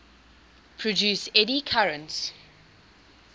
produce eddy currents